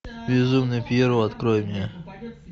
безумный пьеро открой мне